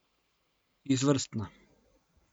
Izvrstna.